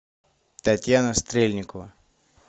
татьяна стрельникова